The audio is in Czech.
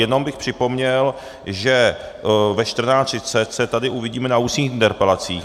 Jenom bych připomněl, že ve 14.30 se tady uvidíme na ústních interpelacích.